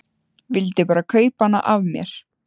Vildi bara kaupa hana af mér!